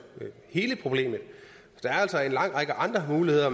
hele problemet der er altså en lang række andre muligheder